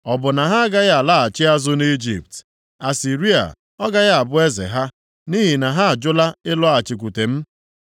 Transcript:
“Ọ bụ na ha agaghị alaghachi azụ nʼIjipt, Asịrịa ọ gaghị abụ eze ha, nʼihi na ha ajụla ịlọghachikwute m?